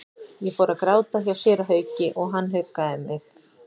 Ég fór að gráta hjá séra Hauki og hann huggaði mig.